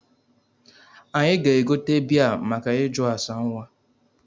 Anyị ga-egote bịa make ịjụ asa nwa